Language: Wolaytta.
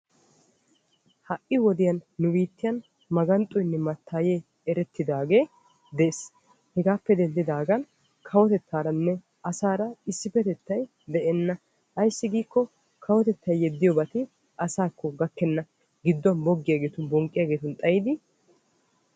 Ha'i wodiyan nu biitten maganxxoynne mattaye erettidaagee de'es. hegaappe dendidaagan kawotetaaranne asaara issippetetay de'enna. Ayissi giikko kawotetay yeddiyobati asaakko gakkenna. Giddo boggiyageetun bonqqiyageetun xayidi